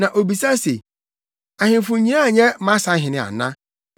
Na obisa se, ‘Ahemfo nyinaa nyɛ mʼasahene ana?